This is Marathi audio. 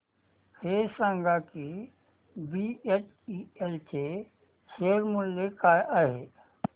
हे सांगा की बीएचईएल चे शेअर मूल्य काय आहे